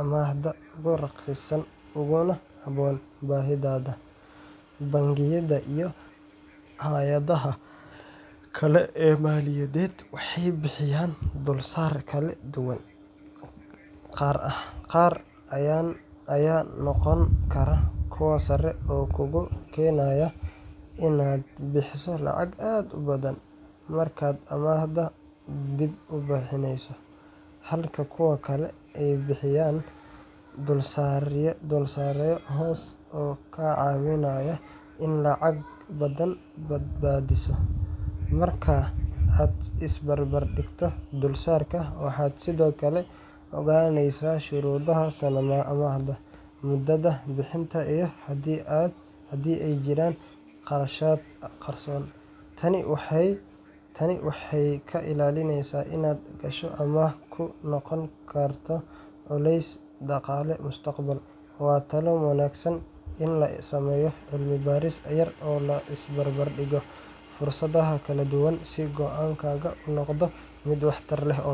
amaahda ugu raqiisan uguna habboon baahidaada. Bangiyada iyo hay’adaha kale ee maaliyadeed waxay bixiyaan dulsaaryo kala duwan, qaar ayaa noqon kara kuwo sare oo kugu keenaya inaad bixiso lacag aad u badan markaad amaahda dib u bixinayso, halka kuwa kale ay bixiyaan dulsaaryo hoose oo kaa caawinaya inaad lacag badan badbaadiso. Marka aad is barbar dhigto dulsaarka, waxaad sidoo kale ogaanaysaa shuruudaha amaahda, muddada bixinta, iyo haddii ay jiraan kharashaad qarsoon. Tani waxay kaa ilaalinaysaa inaad gasho amaah kugu noqota culays dhaqaale mustaqbalka. Waa talo wanaagsan in la sameeyo cilmi-baaris yar oo la is barbar dhigo fursadaha kala duwan si go’aankaaga u noqdo mid waxtar leh oo.